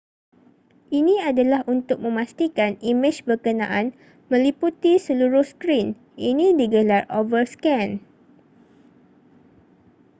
ini adalah untuk memastikan imej berkenaan meliputi seluruh skrin ini digelar overscan